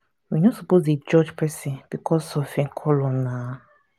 we no suppose dey judge pesin becos of em color na.